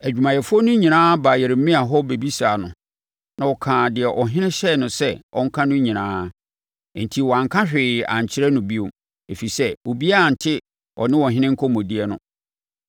Adwumayɛfoɔ no nyinaa baa Yeremia hɔ bɛbisaa no, na ɔkaa deɛ ɔhene hyɛɛ no sɛ ɔnka no nyinaa. Enti, wɔanka hwee ankyɛre no bio, ɛfiri sɛ obiara ante ɔne ɔhene nkɔmmɔdie no.